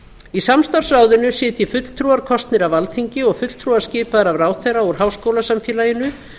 í samstarfsráðinu sitji fulltrúar kosnir af alþingi og fulltrúar skipaðir af ráðherra úr háskólasamfélaginu